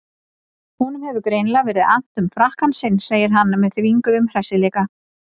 Honum hefur greinilega verið annt um frakkann sinn, segir hann með þvinguðum hressileika.